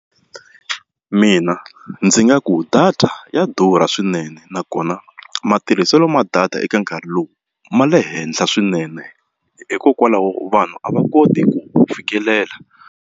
Mina ndzi nga ku data ya durha swinene nakona matirhiselo ma data eka nkarhi lowu ma le henhla swinene hikokwalaho vanhu a va koti ku wu fikelela.